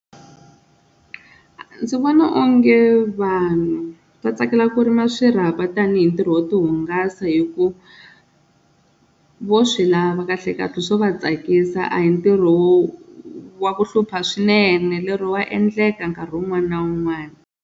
Ndzi vona onge vanhu va tsakela ku rima swirhapa tanihi ntirho wo hungasa hi ku vo swi lava kahle kahle swo va tsakisa a hi ntirho wa ku hlupha swinene lero wa endleka nkarhi wun'wani na wun'wani.